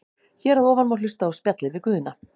Hér að ofan má hlusta á spjallið við Guðna.